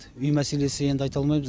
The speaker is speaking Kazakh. үй мәселесі енді айта алмаймыз